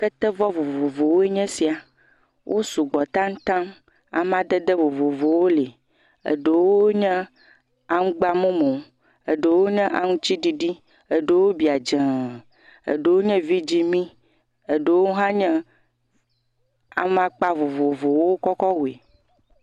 Ketevɔ vovovowoe nye esia. Wo sugbɔ taŋtaŋ. Amadede vovovowo le. Eɖewo nye aŋgbamumu, eɖewo nye aŋtsiɖiɖi, eɖewo biẽ hẽe, eɖewo nhe vidzɛ̃mi. Eɖewo hã nya amakpa vovovowo wokɔ kɔ wɔe.